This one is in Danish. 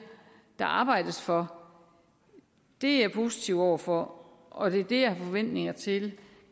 der arbejdes for er jeg positiv over for og det er det jeg har forventninger til